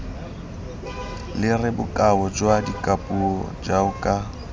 lere bokao jwa dikapuo jaoka